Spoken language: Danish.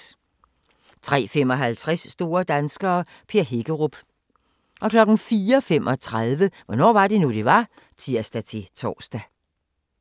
03:55: Store danskere - Per Hækkerup 04:35: Hvornår var det nu, det var? (tir-tor)